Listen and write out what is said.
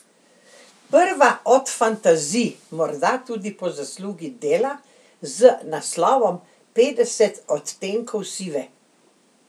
Prva od fantazij, morda tudi po zaslugi dela z naslovom Petdeset odtenkov sive.